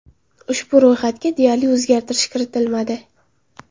Ushbu ro‘yxatga deyarli o‘zgartirish kiritilmadi.